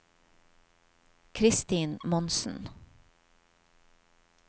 Kristin Monsen